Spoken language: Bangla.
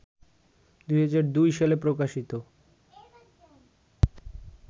২০০২ সালে প্রকাশিত